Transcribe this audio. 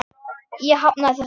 Ég hafnaði þessu.